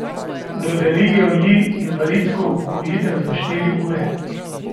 Dodelijo ji invalidsko upokojitev za štiri ure.